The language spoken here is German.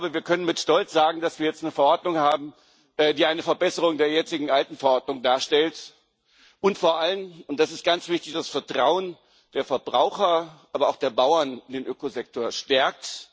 Wir können mit Stolz sagen, dass wir jetzt eine Verordnung haben, die eine Verbesserung der jetzigen alten Verordnung darstellt und vor allem das ist ganz wichtig das Vertrauen der Verbraucher, aber auch der Bauern in den Ökosektor stärkt.